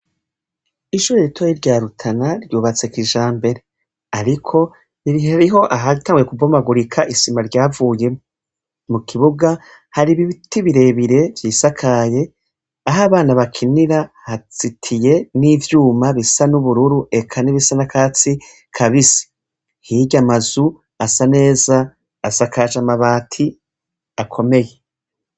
Ishure ritoyi rya rutana ryubatse kijambere ariko hariho ahatanguye kubomagurika ,mukibuga hari ibiti birebire vyisakaye ah'abana bakinira hazitiye n'ivyuma bisa n'ubururu, eka n'ibisa n'akatsi kabisi ,hirya amazu asa neza asakaje amabati akomeye.